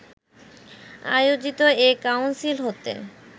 আয়োজিত এ কাউন্সিল হতে